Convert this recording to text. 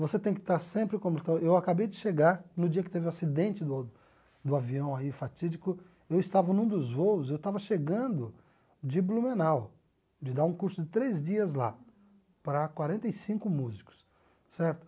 Você tem que estar sempre como... Eu acabei de chegar no dia que teve o acidente do do avião aí fatídico, eu estava num dos voos, eu estava chegando de Blumenau, de dar um curso de três dias lá, para quarenta e cinco músicos, certo?